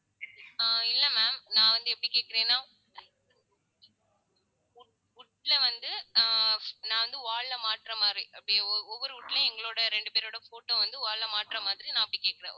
ஆஹ் இல்லை ma'am நான் வந்து எப்படி கேக்குறேன்னா wood wood ல வந்து ஆஹ் நான் வந்து, wall ல மாட்ற மாதிரி அப்படியே ஒவ்வொரு wood லேயும், எங்களோட இரண்டு பேரோட photo வந்து wall ல மாட்ற மாதிரி நான் அப்படி கேக்குறேன்.